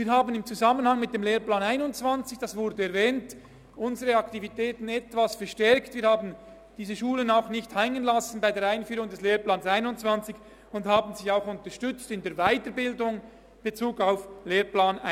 Wir haben in Zusammenhang mit dem Lehrplan 21, es wurde erwähnt, unsere Aktivitäten etwas verstärkt, wir haben diese Schulen bei der Einführung des Lehrplans 21 nicht hängen lassen und sie in der Weiterbildung unterstützt.